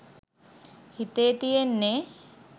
හිතේ තියෙන්නෙ